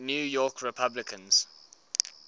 new york republicans